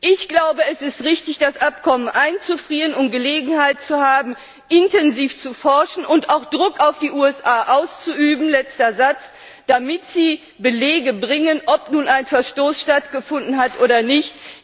Ich glaube, es ist richtig, das Abkommen einzufrieren, um Gelegenheit zu haben, intensiv zu forschen und auch Druck auf die USA auszuüben, damit sie Belege bringen, ob nun ein Verstoß stattgefunden hat oder nicht.